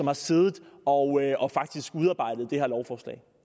har siddet og udarbejdet det her lovforslag